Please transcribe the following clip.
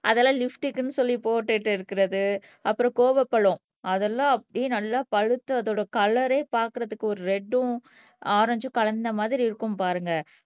அதெல்லாம் லிப்ஸ்டிக்ன்னு சொல்லி போட்டுட்டு இருக்கிறது அப்புறம் கோவப்பழம் அதெல்லாம் அதெல்லாம் அப்படியே நல்லா பழுத்து அதோட கலர்ரே பார்க்கிறதுக்கு ஒரு ரெட்டும் ஆரஞ்சும் கலந்த மாதிரி இருக்கும் பாருங்க